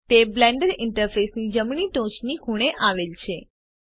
તે બ્લેન્ડર ઈન્ટરફેસની જમણી ટોચની ખૂણે આવેલ છે